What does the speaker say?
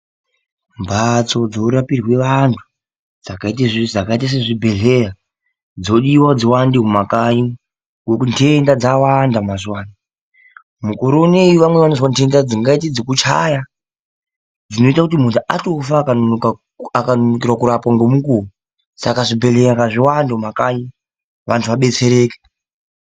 Mbatso dzinorapirwe anhu dzakaite sezvibhehleya dzodiwa kuti dziwande mumakanyi ngokuti nhenda dzawanda mazuwa ano mukore unoyi vamweni vanozwa nhenda dzingaite dzekuchaya dzinoite kuti munhu atofa akanonokera kurapwa ngemukuwo saka zvibhehleya ngazviwande mumakanyi vantu vabetsereke.